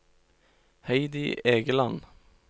Heidi Egeland